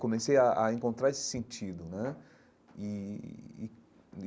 Comecei a a encontrar esse sentido né e e.